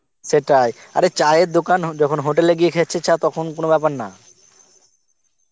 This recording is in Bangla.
সেটাই, আরে চা এর দোকান~ যখন hotel এ গিয়ে খেছছ~ চা তখন কোনো বেপার না